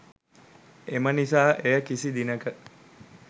එම නිසා එය කිසි දිනක